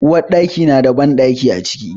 Uwarɗaki na da bandaki a cikin shi.